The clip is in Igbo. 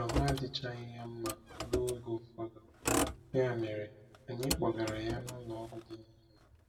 Ahụ adịchaghị ya mma ruo oge ụfọdụ, ya mere anyị kpọgara ya n’ụlọọgwụ dị n’Imo.